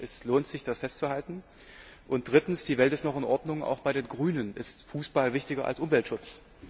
Es lohnt sich, das festzuhalten. Und drittens Die Welt ist noch in Ordnung, auch bei den Grünen ist Fußball wichtiger als Umweltschutz.